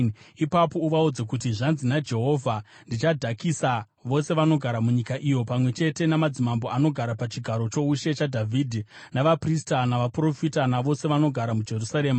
ipapo uvaudze kuti, ‘Zvanzi naJehovha: Ndichadhakisa vose vanogara munyika ino, pamwe chete namadzimambo anogara pachigaro choushe chaDhavhidhi, navaprista navaprofita navose vanogara muJerusarema.